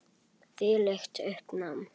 Þvílíkt uppnám.